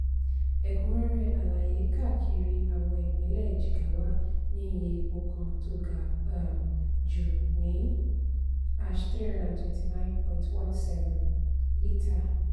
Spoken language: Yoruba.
ẹ̀kúnrẹ́rẹ́ àlàyé kàkiri àwọn ìpínlẹ̀ jigawa ní iye epo kan tó ga um jù ní (# three hundred twenty nine point one seven ) lítà.